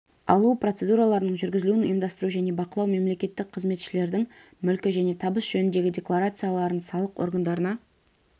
алу процедураларының жүргізілуін ұйымдастыру және бақылау мемлекеттік қызметшілердің мүлкі және табыс жөніндегі декларацияларын салық органдарына